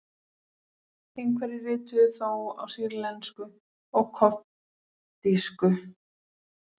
Einhverjir rituðu þó á sýrlensku og koptísku.